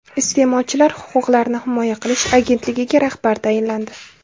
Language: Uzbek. Iste’molchilar huquqlarini himoya qilish agentligiga rahbar tayinlandi.